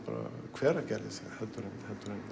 Hveragerðis heldur en